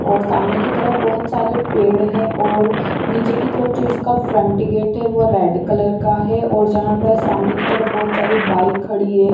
और सामने की तरफ बहुत सारे पेड़ हैं और नीचे की तरफ जो इसका फ्रंट गेट है वो रेड कलर का है और जहाँ पर सामने की तरफ बहुत सारी बाइक खड़ी है।